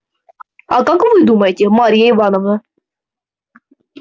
а как вы думаете марья ивановна